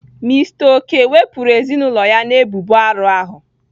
Mister okey wepụrụ ezinaụlọ ya na ebubo arụ ahụ.